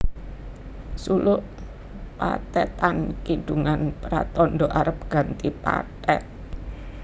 Suluk pathetan kidungan pratandha arep ganti pathet